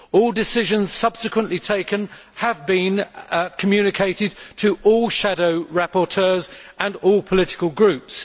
All decisions subsequently taken have been communicated to all shadow rapporteurs and all political groups.